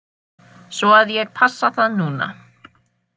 Svo að ég passa það núna.